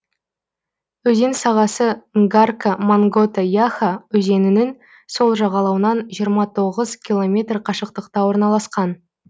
өзен сағасы нгарка монгота яха өзенінің сол жағалауынан жиырма тоғыз километр қашықтықта орналасқан